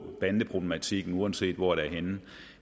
bandeproblematikken uanset hvor det er henne